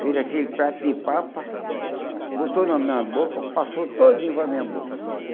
Fez aquele prato de papa, botou na minha boca, passou todinho para minha boca.